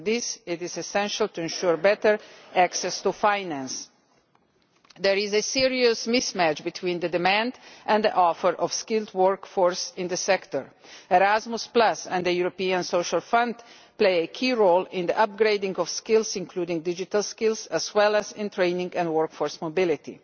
To that end it is essential to ensure better access to finance. There is a serious mismatch between the demand for and the supply of skilled labour in the sector. Erasmus and the European Social Fund play a key role in the upgrading of skills, including digital skills, as well as in training and workforce mobility.